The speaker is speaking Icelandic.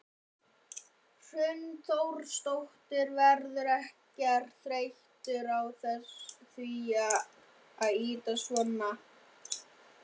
Hrund Þórsdóttir: Verðurðu ekkert þreyttur á því að ýta svona?